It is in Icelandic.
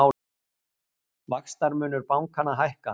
Vaxtamunur bankanna hækkar